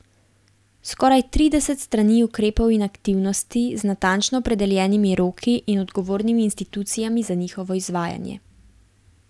Skoraj trideset strani ukrepov in aktivnosti, z natančno opredeljenimi roki in odgovornimi institucijami za njihovo izvajanje.